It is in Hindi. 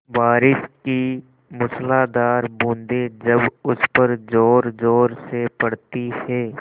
बारिश की मूसलाधार बूँदें जब उस पर ज़ोरज़ोर से पड़ती हैं